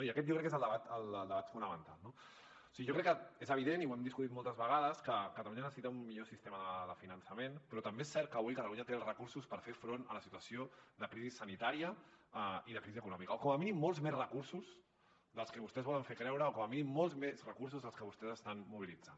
i aquest jo crec que és el debat fonamental no o sigui jo crec que és evident i ho hem discutit moltes vegades que catalunya necessita un millor sistema de finançament però també és cert que avui catalunya té els recursos per fer front a la situació de crisi sanitària i de crisi econòmica o com a mínim molts més recursos dels que vostès volen fer creure o com a mínim molts més recursos dels que vostès estan mobilitzant